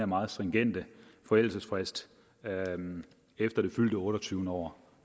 meget stringente forældelsesfrist efter det fyldte otteogtyvende år